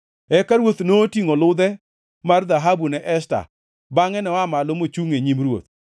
Eka ruoth notingʼo ludhe mar dhahabu ne Esta bangʼe noa malo mochungʼ e nyim ruoth.